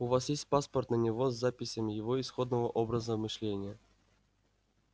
у вас есть паспорт на него с записями его исходного образа мышления